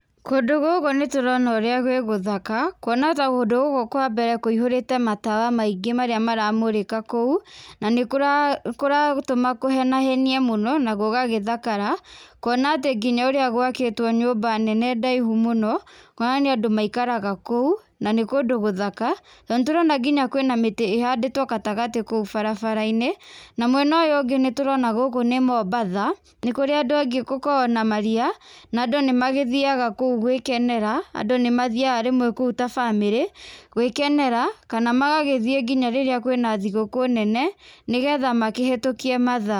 Kũndũ gũkũ nĩ tũrona ũrĩa gwĩ gũthaka, kuona ta kũndũ gũkũ kwa mbere kũihũrĩte matawa maingĩ marĩa maramũrĩka kũu, na nĩ kũragũtũma kũhenahenie mũno na gũgagĩthakara kuona atĩ nginya ũrĩa gwakĩtwo nyũmba nene ndaihu mũno, kuona nĩ andũ maikaraga kũu na nĩ kũndũ gũthaka. Na nĩ tũrona ngina kwĩna mĩtĩ ĩhandĩtwo gatagatĩ kũu barabara-inĩ, na mwena ũyũ ũngĩ nĩ tũrona gũkũ nĩ Mombasa, nĩ kũrĩa andũ angĩ gũkoragwo na maria na andũ nĩ magĩthiaga kũu gwĩkenera. Andũ nĩ mathiaga kũu ta bamĩrĩ gwĩkenera kana magagĩthiĩ nginya rĩrĩa kwĩna thigũkũ nene nĩ getha makĩhetũkie mathaa.